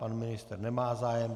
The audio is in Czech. Pan ministr nemá zájem.